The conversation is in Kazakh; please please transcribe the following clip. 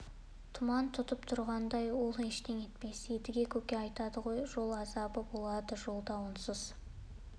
тұман тұтып тұрғандай ол ештеңе етпес едіге көке айтады ғой жол азабы болады деп жолда онсыз